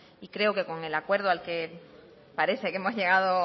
y con el acuerdo al que parece que hemos llegado